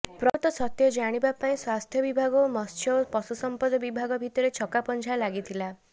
ପ୍ରକୃତ ସତ୍ୟ ଜାଣିବା ପାଇଁ ସ୍ବାସ୍ଥ୍ୟ ବିଭାଗ ଓ ମତ୍ସ୍ୟ ଓ ପଶୁସଂପଦ ବିଭାଗ ଭିତରେ ଛକାପଞ୍ଝା ଲାଗିଥିଲା